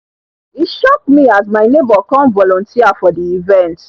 e shock me as my neighbor come volunteer for the event